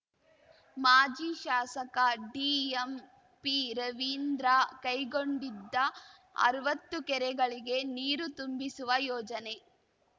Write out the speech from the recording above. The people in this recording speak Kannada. ಮಾಜಿ ಶಾಸಕ ದಿಎಂಪಿರವೀಂದ್ರ ಕೈಗೊಂಡಿದ್ದ ಅರ್ವತ್ತು ಕೆರೆಗಳಿಗೆ ನೀರು ತುಂಬಿಸುವ ಯೋಜನೆ